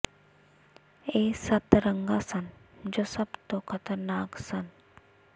ਇਹ ਸੱਤ ਰੰਗਾਂ ਸਨ ਜੋ ਸਭ ਤੋਂ ਖਤਰਨਾਕ ਸਨ